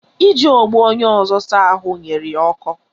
Iji ogbo onye ọzọ saa ahụ nyere ya ọkọ